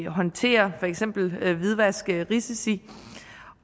håndtere for eksempel hvidvaskrisici